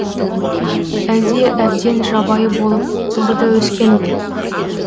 әлде әбден жабайы болып торда өскен бе